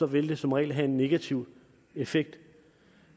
vil det som regel have en negativ effekt